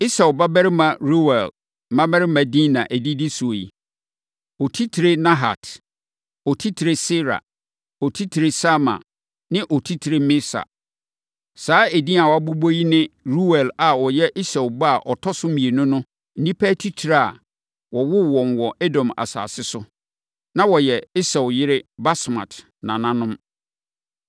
Esau babarima Reuel mmammarima din na ɛdidi so yi: Otitire Nahat, Otitire Serah, Otitire Sama ne Otitire Misa. Saa edin a wɔabobɔ yi ne Ruel a ɔyɛ Esau ba a ɔtɔ so mmienu no nnipa atitire a wɔwoo wɔn wɔ Edom asase so. Na wɔyɛ Esau yere Basmat nananom.